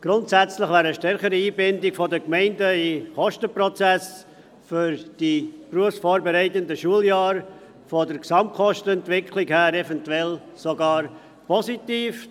Grundsätzlich wäre eine stärkere Einbindung der Gemeinden in den Kostenprozess für die berufsvorbereitenden Schuljahre hinsichtlich der Gesamtkostenentwicklung eventuell sogar positiv.